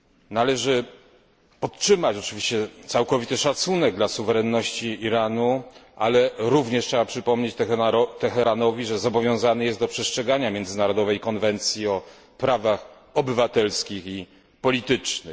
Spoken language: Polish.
Należy podtrzymać oczywiście całkowity szacunek dla suwerenności Iranu, ale również trzeba przypomnieć Teheranowi, że zobowiązany jest do przestrzegania międzynarodowej konwencji o prawach obywatelskich i politycznych.